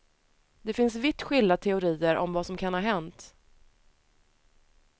Det finns vitt skilda teorier om vad som kan ha hänt.